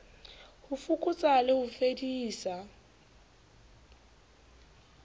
ho fokotsa le ho fedisa